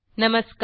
नमस्कार